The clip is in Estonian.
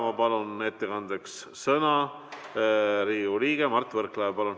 Ma palun ettekandeks sõna anda Riigikogu liikmele Mart Võrklaevale.